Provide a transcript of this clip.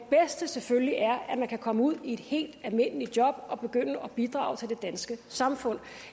selvfølgelig er at man kan komme ud i et helt almindeligt job og begynde at bidrage til det danske samfund